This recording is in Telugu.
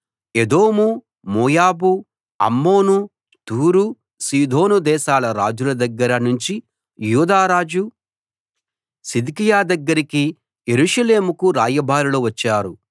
ఎదోం మోయాబు అమ్మోను తూరు సీదోను దేశాల రాజుల దగ్గర నుంచి యూదా రాజు సిద్కియా దగ్గరికి యెరూషలేముకు రాయబారులు వచ్చారు